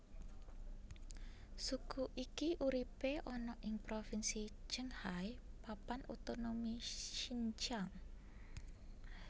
Suku iki uripe ana ing propinsi Qinghai Papan Otonomi Xinjiang